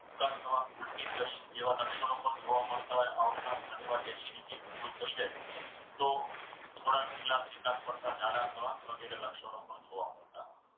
ઉબકા થવા ઉલટી થવી જેવા લક્ષણો પણ જોવા મળતા હોય. આ ઉપરાંત ઘણીવાર, acidity વધુ થઈ જાય તો થોડાક ઢીલા ચિકાસ પડતા જાડા થવા વગેરે લક્ષણો પણ જોવા મળતા હોય છે.